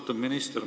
Austatud minister!